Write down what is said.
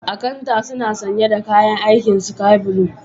Akanta suna sanye da kayan aikin Sky blue.